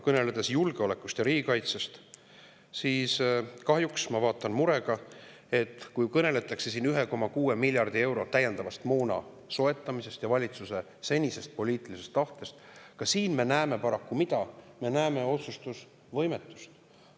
Kõneledes julgeolekust ja riigikaitsest, ma vaatan kahjuks murega, et kui siin räägitakse 1,6 miljardi euro eest täiendava moona soetamisest ja valitsuse senisest poliitilisest tahtest, siis ka siin me näeme paraku otsustusvõimetust.